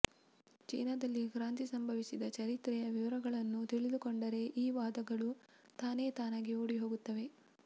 ಚೀನಾದಲ್ಲಿ ಕ್ರಾಂತಿ ಸಂಭವಿಸಿದ ಚರಿತ್ರೆಯ ವಿವರಗಳನ್ನು ತಿಳಿದುಕೊಂಡರೆ ಈ ವಾದಗಳು ತಾನೇ ತಾನಾಗಿ ಓಡಿಹೋಗುತ್ತವೆ